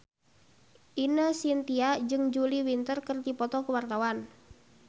Ine Shintya jeung Julia Winter keur dipoto ku wartawan